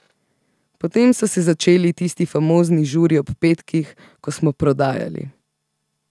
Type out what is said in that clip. Potem so se začeli tisti famozni žuri ob petkih, ko smo prodajali.